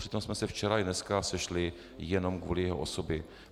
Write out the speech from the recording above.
Přitom jsme se včera i dneska sešli jenom kvůli jeho osobě.